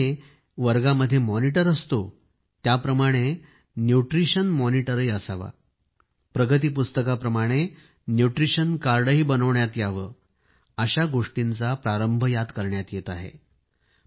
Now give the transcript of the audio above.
ज्याप्रमाणे एक वर्गामध्ये मॉनिटर असतो त्याप्रमाणे न्यूट्रिशन मॉनिटरही असावा प्रगती पुस्तकाप्रमाणे न्यूट्रिशन कार्डही बनविण्यात यावे अशा गोष्टींनाही प्रारंभ करण्यात येत आहे